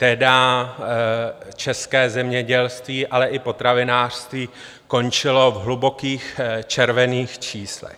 Tehdy české zemědělství, ale i potravinářství končily v hlubokých červených číslech.